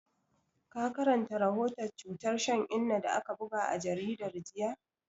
Ka karanta rahoton cutar shan inna da aka buga a jaridar jiya?